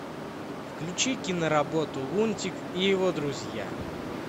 включи киноработу лунтик и его друзья